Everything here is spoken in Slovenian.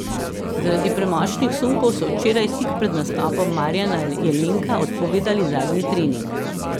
Zaradi premočnih sunkov so včeraj tik pred nastopom Marjana Jelenka odpovedali zadnji trening.